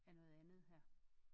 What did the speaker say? Af noget andet her